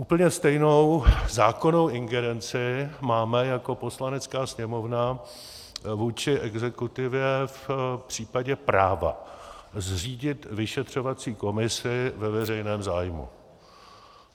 Úplně stejnou zákonnou ingerenci máme jako Poslanecká sněmovna vůči exekutivě v případě práva zřídit vyšetřovací komisi ve veřejném zájmu.